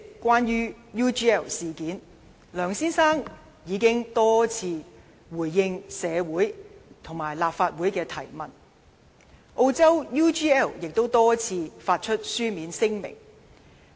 關於 UGL 事件，梁先生已經多次回應社會及立法會的提問，而澳洲的 UGL 亦曾多次發出書面聲明。